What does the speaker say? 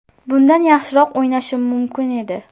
Bundan yaxshiroq o‘ynashim mumkin edi.